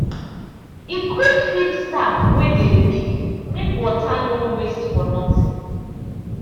e quick fix tap wey dey leak make water no waste for nothing.